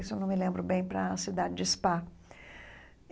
Isso não me lembro bem, para a cidade de Spa.